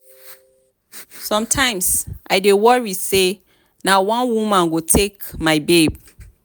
sometimes i dey worry say one woman go take my babe